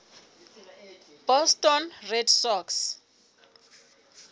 boston red sox